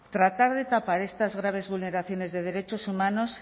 tratar de tapar estas graves vulneraciones de derechos humanos